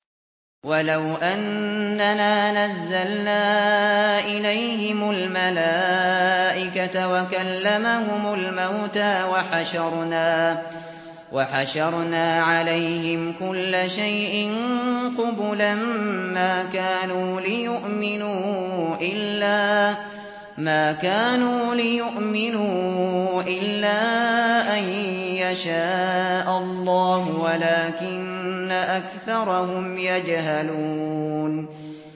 ۞ وَلَوْ أَنَّنَا نَزَّلْنَا إِلَيْهِمُ الْمَلَائِكَةَ وَكَلَّمَهُمُ الْمَوْتَىٰ وَحَشَرْنَا عَلَيْهِمْ كُلَّ شَيْءٍ قُبُلًا مَّا كَانُوا لِيُؤْمِنُوا إِلَّا أَن يَشَاءَ اللَّهُ وَلَٰكِنَّ أَكْثَرَهُمْ يَجْهَلُونَ